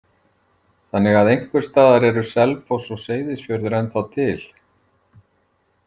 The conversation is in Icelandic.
Þannig að einhvers staðar eru Selfoss og Seyðisfjörður ennþá til?